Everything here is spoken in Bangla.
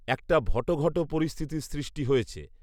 একটা ভটঘট পরিস্থিতির সৃষ্টি হয়েছে